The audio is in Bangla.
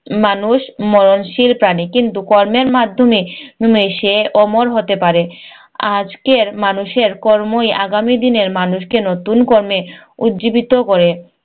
মানুষ মরণশীল প্রাণী। কিন্তু কর্মের মাধ্যমে সে অমর হতে পারে। আজকের মানুষের কর্মই আগামীদিনের মানুষকে নতুন কর্মে উজ্জীবিত করে।